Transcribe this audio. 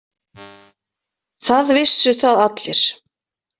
Það vissu það allir.